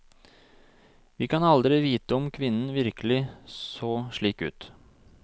Vi kan aldri vite om kvinnen virkelig så slik ut.